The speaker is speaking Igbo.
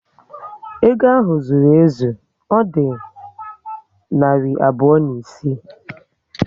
Ego ahụ zụrụ ezu, Ọ dị narị abụọ na isii